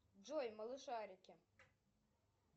джой малышарики